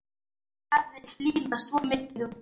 Það hafði hlýnað svo mikið úti.